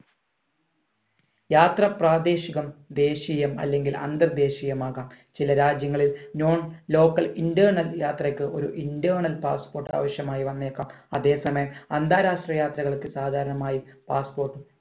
യാത്ര പ്രാദേശികം ദേശീയം അല്ലെങ്കിൽ അന്തർ ദേശീയമാകാം ചില രാജ്യങ്ങളിൽ non local internal യാത്രയ്ക് ഒരു internal passport ആവഷ്യമായിവന്നേക്കാം അതേ സമയം അന്താരാഷ്ട്ര യാത്രകൾക്ക് സാധാരണമായി passport